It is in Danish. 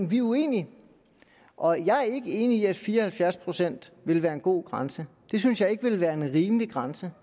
vi er uenige og jeg er ikke enig i at fire og halvfjerds procent vil være en god grænse det synes jeg ikke vil være en rimelig grænse